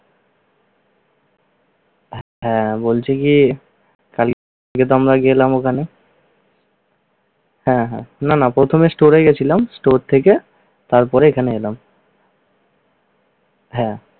হ্যাঁ, বলছি কি কালকেতো আমরা গেলাম ওখানে হ্যাঁ, হ্যাঁ। না না প্রথমে store এ গেছিলাম। store থেকে তারপরে এখানে এলাম। হ্যাঁ।